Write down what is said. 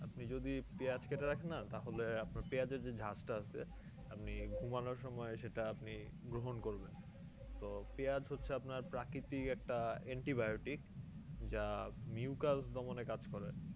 আপনি যদি পেঁয়াজ কেটে রাখেন না তাহলে আপনার পেঁয়াজ এর যে ঝাঁজ টা আছে আপনি ঘুমানোর সময় সেটা আপনি গ্রহণ করবেন তো পেঁয়াজ হচ্ছে আপনার প্রাকৃতিক একটা antibiotic যা mucus দমনে কাজ করে